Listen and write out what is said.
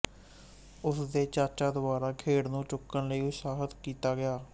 ਉਸ ਦੇ ਚਾਚਾ ਦੁਆਰਾ ਖੇਡ ਨੂੰ ਚੁੱਕਣ ਲਈ ਉਤਸ਼ਾਹਤ ਕੀਤਾ ਗਿਆ